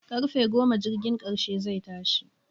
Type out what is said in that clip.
Karfe goma jirgin karshe zai tashi